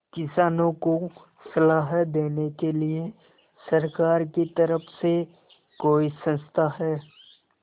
किसानों को सलाह देने के लिए सरकार की तरफ से कोई संस्था है